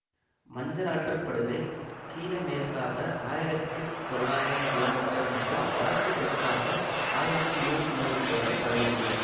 மஞ்சள் ஆற்று படுகை கிழமேற்காக ஆயிரத்தி தொள்ளாயிரம் கிமீ மற்றும் வடக்கு தெற்காக ஆயிரத்தி நூறு கிமீ வரை பரவியுள்ளது